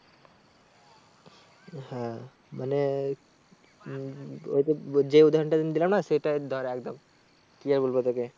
হ্যাঁ মানে হম ওই তো যে উদাহরণটা আমি দিলাম সেটাই ধর একদম কি আর বলবো তোকে